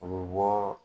U bɛ bɔɔ